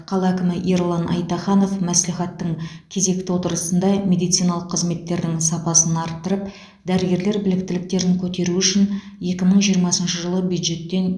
қала әкімі ерлан айтаханов мәслихаттың кезекті отырысында медициналық қызметтердің сапасын арттырып дәрігерлер біліктіліктерін көтеру үшін екі мың жиырмасыншы жылы бюджеттен